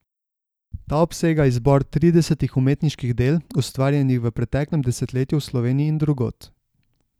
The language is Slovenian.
Ta obsega izbor tridesetih umetniških del, ustvarjenih v preteklem desetletju v Sloveniji in drugod.